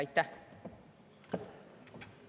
Aitäh!